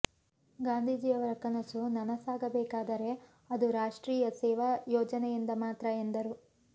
ಗಾಂದೀಜಿಯವರ ಕನಸು ನನಸಾಗಬೇಕಾದರೆ ಅದು ರಾಷ್ಟ್ತ್ರೀಯ ಸೇವಾ ಯೋಜನೆಯಿಂದ ಮಾತ್ರ ಎಂದರು